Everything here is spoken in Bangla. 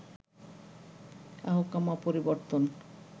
আহকামা পরিবর্তন